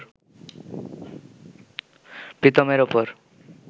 প্রীতমের ওপর